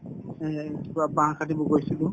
এহ্, কিবা বাহ কাটিব গৈছিলো